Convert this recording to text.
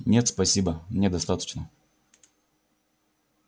нет спасибо мне достаточно